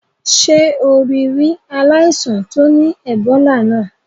Sé o rí ri aláìsàn to ni Ebola náà?